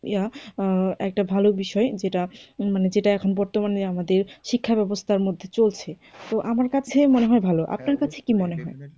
একটা ভালো বিষয় যেটা মানে যেটা এখন বর্তমানে আমাদের শিক্ষা ব্যবস্থার মধ্যে চলছে, তো আমার কাছে মনে হয় ভালো আপনার কাছে কি মনে হয়?